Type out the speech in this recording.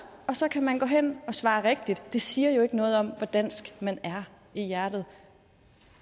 og så kan man gå hen og svare rigtigt det siger jo ikke noget om hvor dansk man er i hjertet